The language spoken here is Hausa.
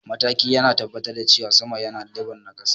mataki yana tabbatar da cewa sama yana lebur na kasa